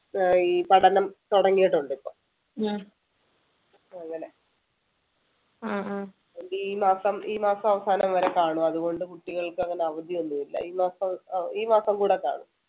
ആഹ് ഈ പഠനം തുടങ്ങീട്ടുണ്ട് ഇപ്പൊ അങ്ങനെ അതുകൊണ്ട് ഈ മാസം ഈ മാസം അവസാനം വരെ കാണും അതുകൊണ്ട് കുട്ടികൾക്കങ്ങനെ അവധിയൊന്നും ഇല്ല ഈ മാസം അഹ് ഈ മാസം കൂടെ കാണും